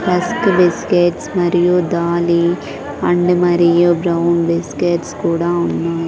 Rusk biscuits మరియు దాలీ and మరియు బ్రౌన్ బిస్కెట్స్ కూడా ఉన్నాయ్.